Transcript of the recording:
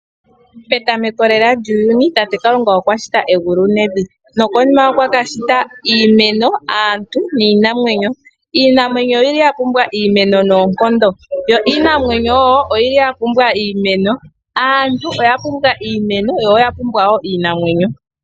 Petameko lela lyuuyuni tate Kalunga okwa shita evi, nokonima okwa ka shita iimeno, aantu niinamwenyo. Iinamwenyo oyi li ya pumbwa iimeno noonkondo, yo iinamwenyo wo oyi li ya pumbwa iimeno, aantu oya pumbwa iimeno yo oya pumbwa wo iinamwenyo.